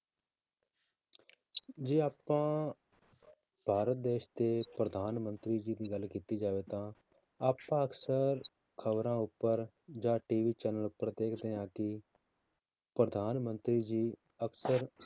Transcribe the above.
ਜੇ ਆਪਾਂ ਭਾਰਤ ਦੇਸ ਦੇ ਪ੍ਰਧਾਨ ਮੰਤਰੀ ਜੀ ਦੀ ਗੱਲ ਕੀਤੀ ਜਾਵੇ ਤਾਂ ਆਪਾਂ ਅਕਸਰ ਖ਼ਬਰਾਂ ਉੱਪਰ ਜਾਂ TV channel ਉੱਪਰ ਦੇਖਦੇ ਹਾਂ ਕਿ ਪ੍ਰਧਾਨ ਮੰਤਰੀ ਜੀ ਅਕਸਰ